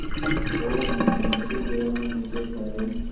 और मकानों से घिरा होने के कारण